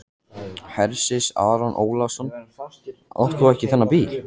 Hersir Aron Ólafsson: Átt þú þennan bíl?